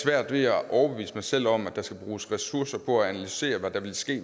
svært ved at overbevise mig selv om at der skal bruges ressourcer på at analysere hvad der vil ske